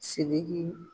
Sidiki